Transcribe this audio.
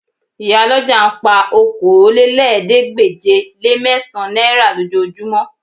Ìyálọ́jà ń pa okòólélẹ́ẹ̀ẹ́dégbèje-le-mẹ́sàn-án náírà lójoojúmọ́